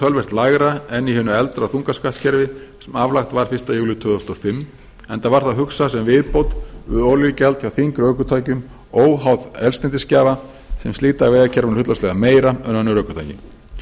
töluvert lægra en í hinu eldra þungaskattskerfi sem aflagt var fyrsta júlí tvö þúsund og fimm enda var það hugsað sem viðbót við olíugjald hjá þyngri ökutækjum óháð eldsneytisgjafa sem slíta vegakerfinu hlutfallslega meira en önnur ökutæki